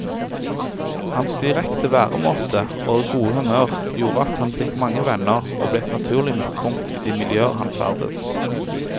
Hans direkte væremåte og gode humør gjorde at han fikk mange venner og ble et naturlig midtpunkt i de miljøer han ferdedes.